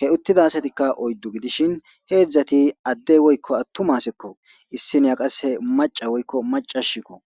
.hee uttida asatikka oyiddu gidishshin hezhzhati adee woyikko atuma assekko issinayi qase maca woyikko maacashshikko.